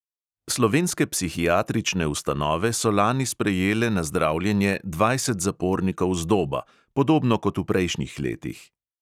Slovenske psihiatrične ustanove so lani sprejele na zdravljenje dvajset zapornikov z doba, podobno kot v prejšnjih letih.